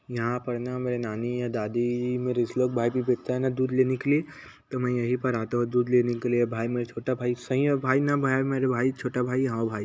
यहाँ पर ना मेरे नानी या दादी मेरा इस लोग भाई लोग भी भेजता है न दूध लेने के लिए तो मैं यहीं पर आता हूँ दूध लेने के लिए भाई मेरा छोटा भाई सही है न भाई न भाई मेरा भाई छोटा भाई यहाँ आवो भाई --